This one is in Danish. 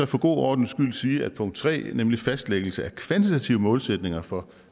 for god ordens skyld sige at punkt tre nemlig fastlæggelse af kvantitative målsætninger for